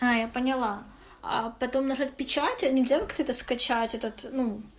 а я поняла потом нажать печатать они делают это скачать этот ну